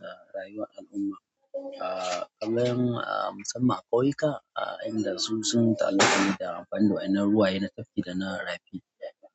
Ga rayuwar al'umma, a kaman a musamman a ƙauyuka, a inda su sun tallafa ne da amfani da wa'inan ruwaye na tafki da na rafi.